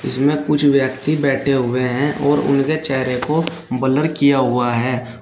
इसमें कुछ व्यक्ति बैठे हुए हैं और उनके चेहरे को बलर किया हुआ है।